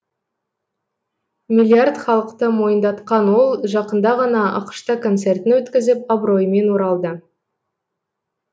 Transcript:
миллиард халықты мойындатқан ол жақында ғана ақш та концертін өткізіп абыроймен оралды